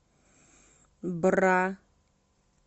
бра